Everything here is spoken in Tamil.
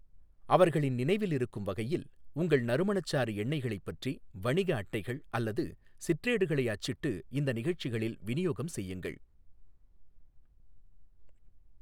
அவர்களின் நினைவில் இருக்கும் வகையில், உங்கள் நறுமணச்சாறு எண்ணெய்களைப் பற்றி வணிக அட்டைகள் அல்லது சிற்றேடுகளை அச்சிட்டு இந்த நிகழ்ச்சிகளில் விநியோகம் செய்யுங்கள்.